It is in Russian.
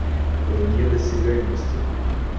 вне досягаемости